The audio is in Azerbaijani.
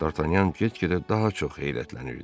Dartanyan get-gedə daha çox heyrətlənirdi.